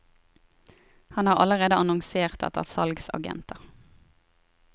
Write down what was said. Han har allerede annonsert etter salgsagenter.